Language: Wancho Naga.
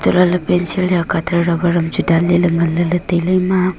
hulah ley pencil ya cutter rubber chu dan lele ngan lele tailay ema.